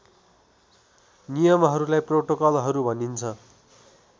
नियमहरूलाई प्रोटोकलहरू भनिन्छ